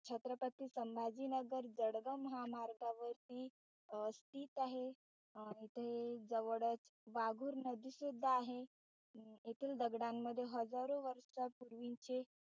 छत्रपती संभाजीनगर जळगाव महामार्गावरती स्थित आहे. इथे जवळच वाघूर नदी सुद्धा आहे येथे दगडांमधील हजारो वर्षापूर्वीचे,